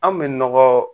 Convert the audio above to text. An bɛ nɔgɔ